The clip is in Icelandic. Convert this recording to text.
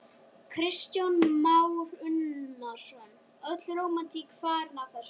Kristján Már Unnarsson: Öll rómantík farin af þessu?